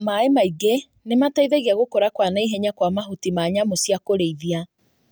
Maĩ maingĩ nĩmateithagia gũkũra kwa naihenya kwa mahuti ma nyamu cia kũrĩithia